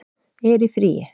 er í fríi